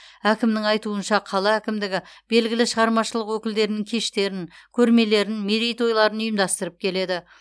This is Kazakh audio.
әкімнің айтуынша қала әкімдігі белгілі шығармашылық өкілдерінің кештерін көрмелерін мерейтойларын ұйымдастырып келеді